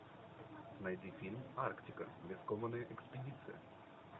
найди фильм арктика рискованная экспедиция